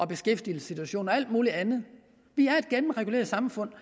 beskæftigelsessituation og alt muligt andet vi er et gennemreguleret samfund